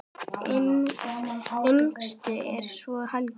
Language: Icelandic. Yngstur er svo Helgi.